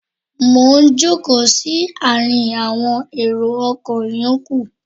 Mo ń jókòó sí àárín awọn èrò ọkọ̀ ìyókù.